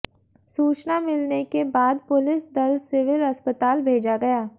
सूचना मिलने के बाद पुलिस दल सिविल अस्पताल भेजा गया